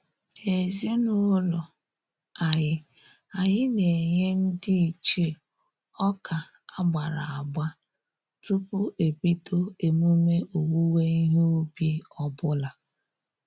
N'ezinụlọ anyị, anyị na-enye ndị ichie ọka agbara agba tupu ebido emume owuwe ihe ubi ọbụla